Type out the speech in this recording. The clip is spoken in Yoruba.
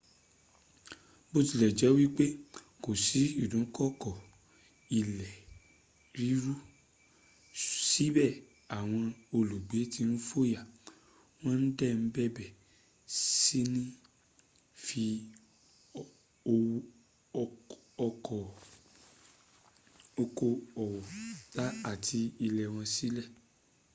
bótilẹ̀jẹ́ wípé kò sí ìdúnkòkò ilẹ̀ ríru síbẹ̀ àwọn olùgbé tí ń fòyà wón dè bẹ̀rẹ̀ síní fi okoòwò àti ilé wọn sílẹ̀